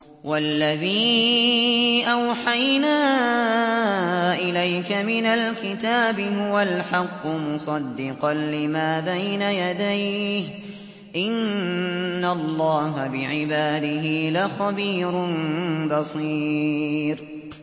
وَالَّذِي أَوْحَيْنَا إِلَيْكَ مِنَ الْكِتَابِ هُوَ الْحَقُّ مُصَدِّقًا لِّمَا بَيْنَ يَدَيْهِ ۗ إِنَّ اللَّهَ بِعِبَادِهِ لَخَبِيرٌ بَصِيرٌ